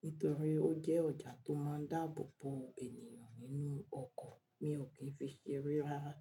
nítorí ó jẹ́ ọjà tó máa ń dáàbò bo ènìyàn nínú ọkọ̀, mi ò kí ń fi ṣere rara.